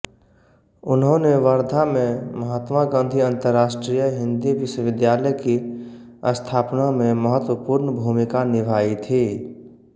उन्होने वर्धा में महात्मा गांधी अंतरराष्ट्रीय हिन्दी विश्वविद्यालय की स्थापना में महत्वपूर्ण भूमिका निभाई थी